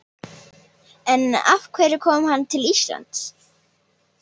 En af hverju kom hann til Íslands?